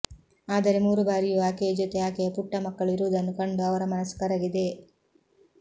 ಆದರೆ ಮೂರು ಬಾರಿಯೂ ಆಕೆಯ ಜೊತೆ ಆಕೆಯ ಪುಟ್ಟ ಮಕ್ಕಳು ಇರುವುದನ್ನು ಕಂಡು ಅವರ ಮನಸ್ಸು ಕರಗಿದೆ